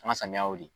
An ka samiyaw de